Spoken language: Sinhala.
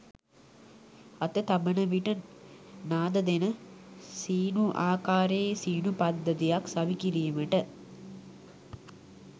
අත තබන විට නාද දෙන සීනු ආකාරයේ සීනු පද්ධතියක් සවිකිරීමට